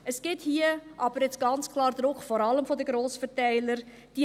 Hier gibt es jetzt ganz klar vor allem vonseiten der Grossverteiler Druck.